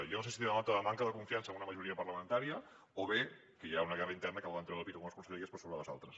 jo no sé si denota manca de confiança en una majoria parlamentària o bé que hi ha una guerra interna que volen treure pit algunes conselleries per sobre de les altres